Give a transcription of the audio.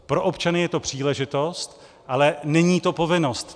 Pro občany je to příležitost, ale není to povinnost.